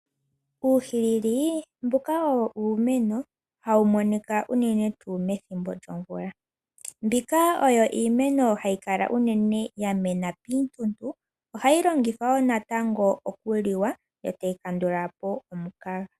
Uuhilili mbuka owo iimeno hawu monika unene tuu methimbo lyomvula. Mbika oyo iimeno hayi kala unene yamena piituntu. Ohayi longithwa wo natango okuliwa yotayi kandula po omukaga.